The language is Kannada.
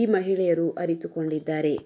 ಈ ಮಹಿಳೆಯರು ಅರಿತುಕೊಂಡಿದ್ದಾರೆ